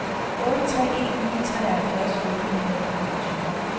otte tre en ni treoghalvfjerds otte hundrede og enogtyve